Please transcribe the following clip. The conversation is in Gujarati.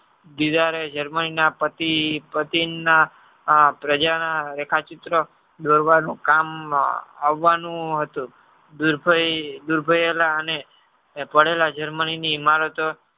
Germany ના પતિ પ્રજા ના રેખા ચિત્ર દોર વાનું કામ અવાનૂ હતું દુરભાયેલા અને પડેલી Germany ની ઇમારત